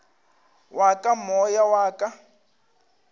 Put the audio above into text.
wa ka moya wa ka